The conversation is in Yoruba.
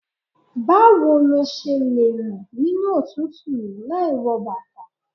Báwo lo ṣe lẹ ń rìn nínú òtútù yí láì wọ bàtà.